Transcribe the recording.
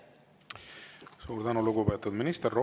Suur tänu, lugupeetud minister!